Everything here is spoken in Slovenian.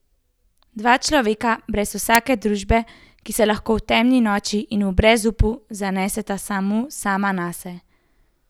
Dva človeka brez vsake družbe, ki se lahko v temni noči in v brezupu zaneseta samo sama nase.